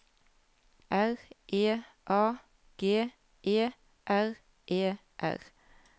R E A G E R E R